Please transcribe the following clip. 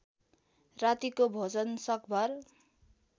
रातिको भोजन सकभर